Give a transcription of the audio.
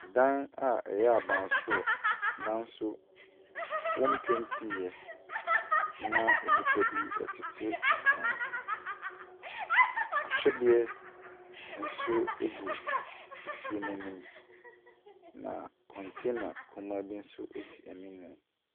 Dan a ɛyɛ abansoro nanso wɔmpentiiɛ na nnipa bi tete ho. Ahwedeɛ nso egu fie no anim. Na container kɔmaa bi nso si anim.